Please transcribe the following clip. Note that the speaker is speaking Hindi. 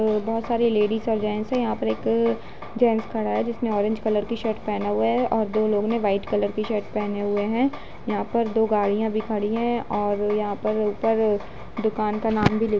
बोहोत सारी लेडिज और जेंट्स हैं। यहाँ पर एक जेंट्स खड़ा है जिसने ऑरेंज कलर कि शर्ट पहना हुए है और दो लोगों ने व्हाइट कलर की शर्ट पहने हुई है। यहाँ पर दो गाड़ियाँ भी खड़ी हैं और यहाँ पर ऊपर दुकान का भी नाम लिख --